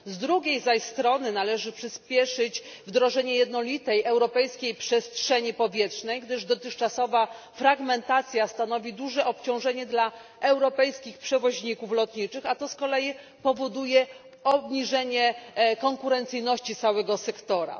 Z drugiej zaś strony należy przyspieszyć wdrożenie jednolitej europejskiej przestrzeni powietrznej, gdyż dotychczasowa fragmentacja stanowi duże obciążenie dla europejskich przewoźników lotniczych, a to z kolei powoduje obniżenie konkurencyjności całego sektora.